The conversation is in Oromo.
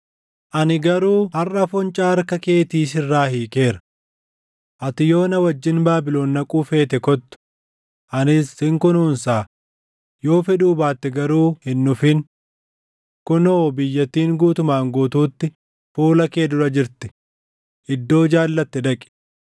Ani garuu harʼa foncaa harka keetii sirraa hiikeera. Ati yoo na wajjin Baabilon dhaquu feete kottu; anis sin kunuunsaa; yoo fedhuu baatte garuu hin dhufin. Kunoo biyyattiin guutumaan guutuutti fuula kee dura jirti; iddoo jaallatte dhaqi.”